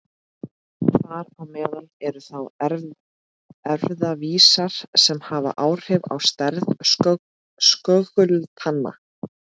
Þar á meðal eru þá erfðavísar sem hafa áhrif á stærð skögultanna.